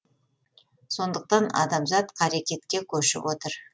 сондықтан адамзат қарекетке көшіп отыр